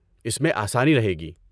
اس میں آسانی رہے گی۔